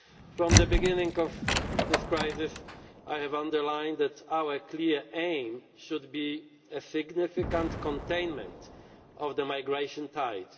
From the beginning of this crisis I have underlined that our clear aim should be a significant containment of the migration tide.